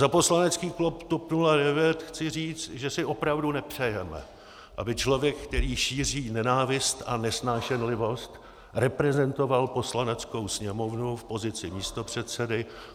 Za poslanecký klub TOP 09 chci říct, že si opravdu nepřejeme, aby člověk, který šíří nenávist a nesnášenlivost, reprezentoval Poslaneckou sněmovnu v pozici místopředsedy.